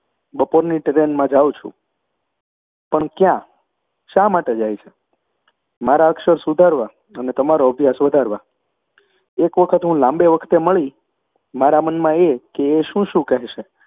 બપોરની ટ્રેનમાં જાઉં છું. પણ ક્યાં? શા માટે જાય છે? મારા અક્ષર સુધારવા અને તમારો અભ્યાસ વધારવા. એક વખત હું લાંબે વખતે મળી, મારા મનમાં એ કે એ શું શું કહેશે